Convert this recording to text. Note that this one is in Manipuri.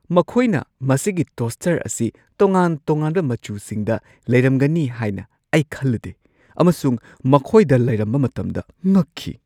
ꯃꯈꯣꯏꯅ ꯃꯁꯤꯒꯤ ꯇꯣꯁꯇꯔ ꯑꯁꯤ ꯇꯣꯉꯥꯟ-ꯇꯣꯉꯥꯟꯕ ꯃꯆꯨꯁꯤꯡꯗ ꯂꯩꯔꯝꯒꯅꯤ ꯍꯥꯏꯅ ꯑꯩ ꯈꯜꯂꯨꯗꯦ ꯑꯃꯁꯨꯡ ꯃꯈꯣꯏꯗ ꯂꯩꯔꯝꯕ ꯃꯇꯝꯗ ꯉꯛꯈꯤ꯫